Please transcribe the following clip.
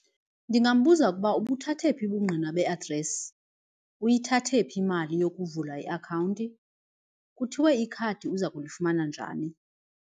Ndingambuza ukuba ubuthathe phi ubungqina be-address uyithathe phi imali yokuvula iakhawunti kuthiwe ikhadi uza kulifumana njani.